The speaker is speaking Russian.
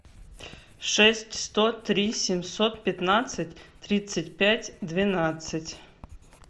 шесть сто три семьсот пятнадцать тридцать пять двенадцать